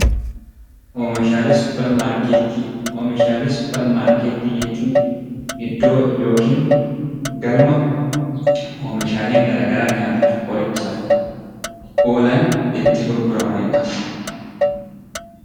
Oomishaalee suppermaarkettii Oomishaalee suppermaarkettii jechuun iddoo yookiin galma oomishaaleen garaagaraa nyaataaf, qorichaaf, oolan itti gurguramani dha.